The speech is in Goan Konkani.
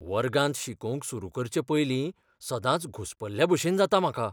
वर्गांत शिकोवंक सुरू करचे पयलीं सदांच घुसपल्लेभशेन जाता म्हाका.